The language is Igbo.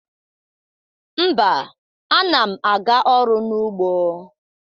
Mba, ana m aga ọrụ n’ugbo.